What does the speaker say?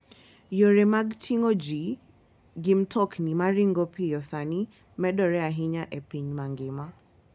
Yore mag ting'o ji gi mtokni ma ringo piyo sani medore ahinya e piny mangima.